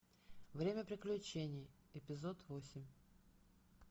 время приключений эпизод восемь